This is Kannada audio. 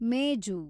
ಮೇಜು